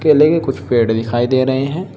केले के कुछ पेड़ दिखाई दे रहे हैं।